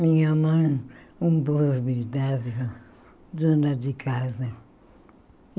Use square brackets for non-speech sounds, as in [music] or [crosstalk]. Minha mãe, [unintelligible] dona de casa.